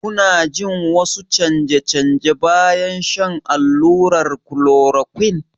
Kuna jin wasu canje-canje bayan shan allurar chloroquine?